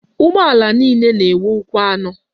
Ụgbọala niile na-enwe ụkwụ anọ.